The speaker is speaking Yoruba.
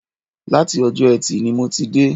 Láti Ọjọ́ Ẹtì ni mo ti dé